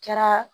Kɛra